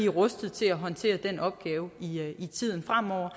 rustet til at håndtere den opgave i tiden fremover